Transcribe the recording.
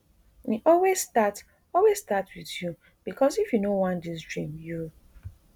e always start always start with you becos if you no want dis dream you